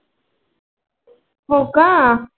हो का?